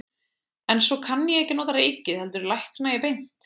En svo kann ég ekki að nota reikið heldur lækna ég beint.